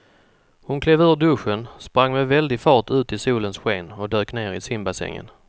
Hon klev ur duschen, sprang med väldig fart ut i solens sken och dök ner i simbassängen.